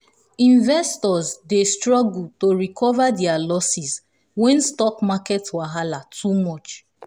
investors dey struggle to recover their losses when stock market wahala too much.